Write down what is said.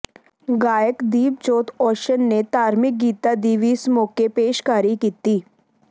ਗਾਇਕ ਦੀਪ ਜੋਤ ਓਸ਼ਨ ਨੇ ਧਾਰਮਿਕ ਗੀਤਾਂ ਦੀ ਵੀ ਇਸ ਮੌਕੇ ਪੇਸ਼ਕਾਰੀ ਕੀਤੀ